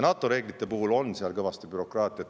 NATO reeglite puhul on kõvasti bürokraatiat.